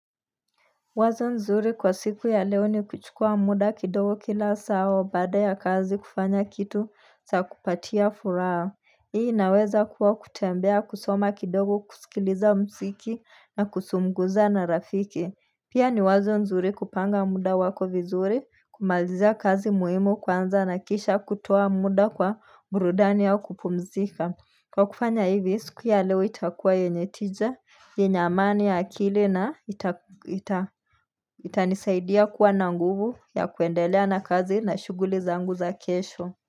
Wazo nzuri kwa siku ya leo ni kuchukua muda kidogo kila saa au baada ya kazi kufanya kitu saa kupatia furaha. Hii inaweza kuwa kutembea kusoma kidogo kusikiliza msiki na kusumguza na rafiki. Pia ni wazo nzuri kupanga muda wako vizuri kumalizia kazi muhimu kwanza na kisha kutoa muda kwa burudani au kupumzika. Kwa kufanya hivi, siku ya leo itakuwa yenye tija, yenye amani ya akili na itanisaidia kuwa na nguvu ya kuendelea na kazi na shuguli zangu za kesho.